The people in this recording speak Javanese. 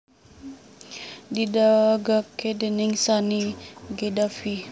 didegaké déning Sanny Gaddafi